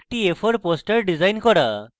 একটি a4 poster design করা